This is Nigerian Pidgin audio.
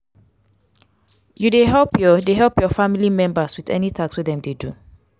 you dey help your dey help your family members with any task wey dem dey do?